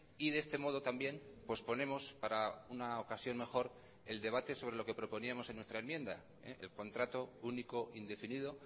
y de este modo también posponemos para una ocasión mejor el debate sobre lo que proponíamos en nuestra enmienda el contrato único indefinido